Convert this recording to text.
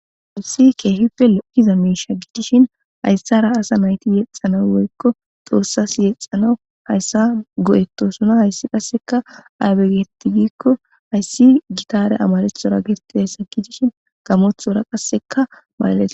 hayusi keehife lokiza meisha gidishin hayssara asa nayti yexxana woykko xoossas yexxanawu hayssa go7ettosuna hayssi qasseka aybe getigikko hayssi gitare amaleththora gerti hayssa gidishin gamothora qasseka maalales